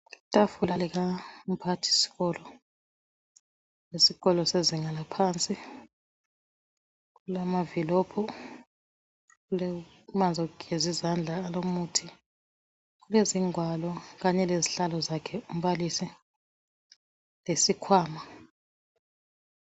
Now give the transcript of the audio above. Itafula likamphathisikolo wesikolo sezinga laphansi, kulamavilophu, kulamanzi okugeza izandla alomuthi, kulezingwalo kanye lezihlalo zakhe umbalisi, lesikhwama.